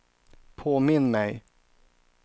påminn mig